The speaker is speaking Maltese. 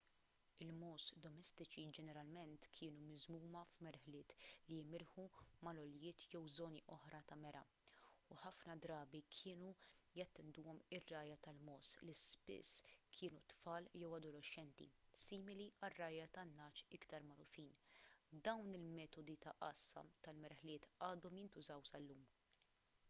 il-mogħoż domestiċi ġeneralment kienu miżmuma f'merħliet li jimirħu mal-għoljiet jew żoni oħra ta' mergħa u ħafna drabi kienu jattenduhom ir-rgħajja tal-mogħoż li spiss kienu tfal jew adolexxenti simili għar-rgħajja tan-ngħaġ iktar magħrufin dawn il-metodi ta' għassa tal-merħliet għadhom jintużaw sal-lum